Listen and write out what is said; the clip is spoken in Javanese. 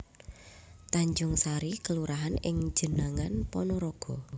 Tanjungsari kelurahan ing Jenangan Panaraga